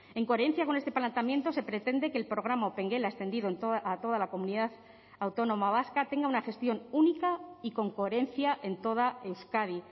en coherencia con este planteamiento se pretende que el programa opengela extendido a toda la comunidad autónoma vasca tenga una gestión única y con coherencia en toda euskadi